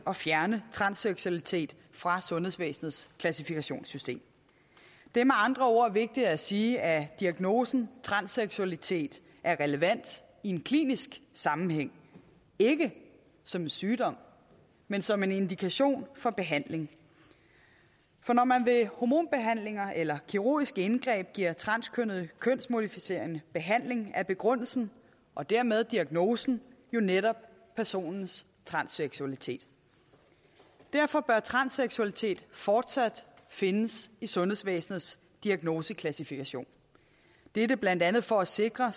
at fjerne transseksualitet fra sundhedsvæsenets klassifikationssystem det er med andre ord vigtigt at sige at diagnosen transseksualitet er relevant i en klinisk sammenhæng ikke som en sygdom men som en indikation for behandling for når man ved hormonbehandlinger eller kirurgiske indgreb giver transkønnede kønsmodificerende behandling er begrundelsen og dermed diagnosen jo netop personens transseksualitet derfor bør transseksualitet fortsat findes i sundhedsvæsenets diagnoseklassifikationssystem det er blandt andet for at sikre